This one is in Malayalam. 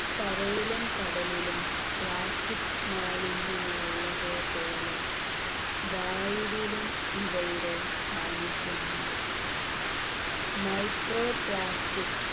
കരയിലും കടലിലും plastic മാലിന്യങ്ങൾ ഉള്ളതുപോലെ വായുവിലും ഇവയുടെ സാന്നിധ്യം ഉണ്ട് micro plastic